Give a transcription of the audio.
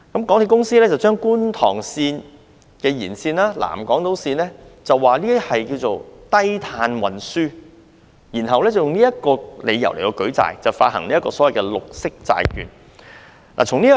港鐵公司把觀塘線延線及南港島線稱為低碳運輸，然後以這理由舉債，發行所謂的綠色債券。